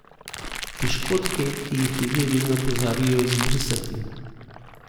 Piškotke, ki ji ljudje vedno pozabijo izbrisati.